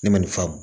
Ne ma nin faamu